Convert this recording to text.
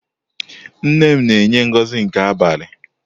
Nnenne m na enye Ngozi nke abalị.